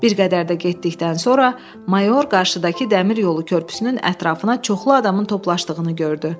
Bir qədər də getdikdən sonra mayor qarşıdakı dəmir yolu körpüsünün ətrafına çoxlu adamın toplandığını gördü.